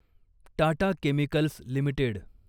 Tata chemicals limited